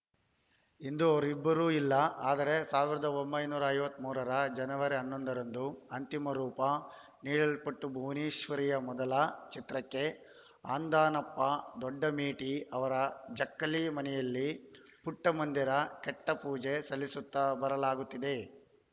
ಇಂದು ಅವರಿಬ್ಬರೂ ಇಲ್ಲ ಆದರೆ ಸಾವಿರದ ಒಂಬೈನೂರ ಐವತ್ತ್ ಮೂರರ ಜನವರಿ ಹನ್ನೊಂದರಂದು ಅಂತಿಮ ರೂಪ ನೀಡಲ್ಪಟ್ಟಭುವನೇಶ್ವರಿಯ ಮೊದಲ ಚಿತ್ರಕ್ಕೆ ಅಂದಾನಪ್ಪ ದೊಡ್ಡಮೇಟಿ ಅವರ ಜಕ್ಕಲಿ ಮನೆಯಲ್ಲಿ ಪುಟ್ಟಮಂದಿರ ಕಟ್ಟಿಪೂಜೆ ಸಲ್ಲಿಸುತ್ತಾ ಬರಲಾಗುತ್ತಿದೆ